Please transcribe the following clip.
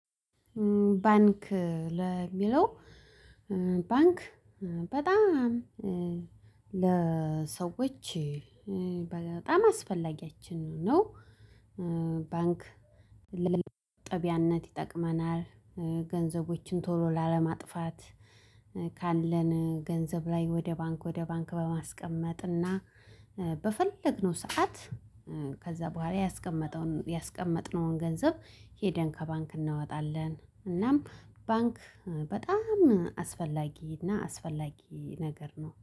ባንክ ለሚለው ባንክ በጣም ለሰዎች በጣም አስፈላጊያችን ነው። ባንክ ለመቆጠቢያነት ይጠቅመናል ገንዘቦችን ቶሎ ላለማጥፋት። ካለን ገንዘብ ላይ ወደ ባንክ ወደ ባንክ በማስቀመጥ እና በፈለግነው ሰዓት ከዛ በኋላ ያስቀመጠውን ያስቀመጥነውን ገንዘብ ሄደን ከባንክ እናወጣለን። እናም ባንክ በጣም አስፈላጊ እና አስፈላጊ ነገር ነው